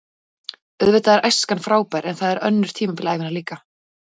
Auðvitað er æskan frábær en það eru önnur tímabil ævinnar líka.